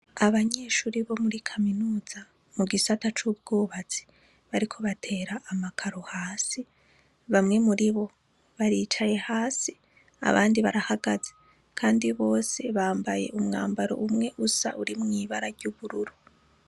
Abanyeshuri bo muri kaminuza mu gisata c'ubwubatsi bariko batera amakaro hasi bamwe muri bo baricaye hasi abandi barahagaze, kandi bose bambaye umwambaro umwe usa urimwo ibara ry'ubururu.